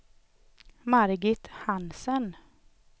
Margit Hansen